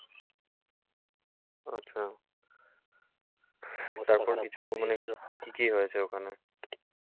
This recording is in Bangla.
আচ্ছা। তারপর কিছু মানে, কী হয়েছে ওখানে?